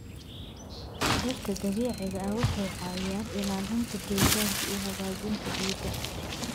Dhirta dabiiciga ah waxay caawiyaan ilaalinta deegaanka iyo hagaajinta ciidda.